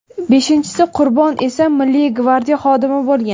Beshinchisi qurbon esa Milliy gvardiya xodimi bo‘lgan.